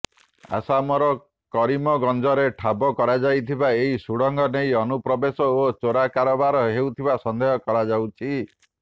ଆସାମର କରିମଗଞ୍ଜରେ ଠାବ କରାଯାଇଥିବା ଏହି ସୁଡଙ୍ଗ ନେଇ ଅନୁପ୍ରବେଶ ଓ ଚୋରା କାରୋବାର ହେଉଥିବା ସନ୍ଦେହ କରାଯାଉଛି